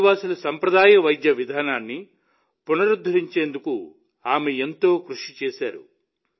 ఆదివాసుల సంప్రదాయ వైద్య విధానాన్ని పునరుద్ధరించేందుకు ఆమె ఎంతో కృషి చేశారు